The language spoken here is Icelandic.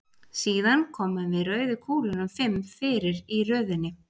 Síðan komum við rauðu kúlunum fimm fyrir í röðinni.